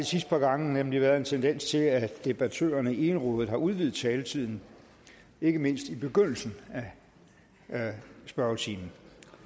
sidste par gange nemlig været en tendens til at debattørerne egenrådigt har udvidet taletiden ikke mindst i begyndelsen af spørgetimen